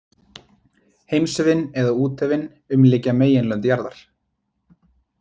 Heimshöfin, eða úthöfin, umlykja meginlönd jarðar.